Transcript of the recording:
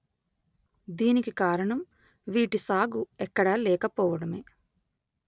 దీనికి కారణం వీటి సాగు ఎక్కడా లేకపోవడమే